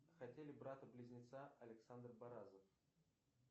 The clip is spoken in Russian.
хотели брата близнеца александр баразов